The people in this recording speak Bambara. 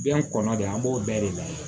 Den kɔnɔ de an b'o bɛɛ de lajɛ